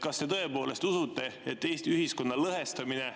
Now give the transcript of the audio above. Kas te tõepoolest usute, et Eesti ühiskonna lõhestamine